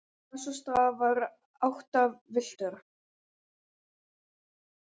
Á þessum stað var hann áttavilltur.